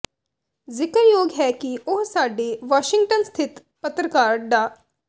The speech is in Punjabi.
ਜ਼ਿਕਰਯੋਗ ਹੈ ਕਿ ਉਹ ਸਾਡੇ ਵਾਸ਼ਿੰਗਟਨ ਸਥਿਤ ਪਤਰਕਾਰ ਡਾ